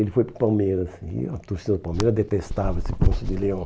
Ele foi para o Palmeiras e a torcida do Palmeiras detestava esse Ponço de Leão.